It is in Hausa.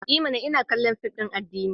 I mana! Ina kallon fim din addini.